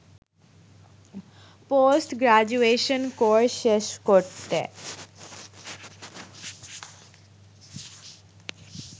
post graduation course শেষ করতে